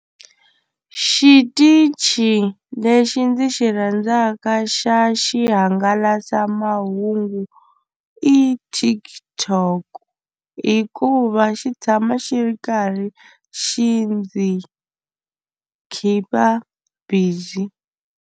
Xitichi lexi ndzi xi rhandzaka xa xihangalasamahungu i TikTok hikuva xi tshama xi ri karhi xi ndzi khipa busy.